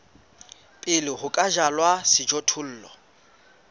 pele ho ka jalwa sejothollo